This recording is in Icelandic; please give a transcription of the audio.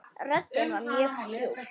Röddin var mjög djúp.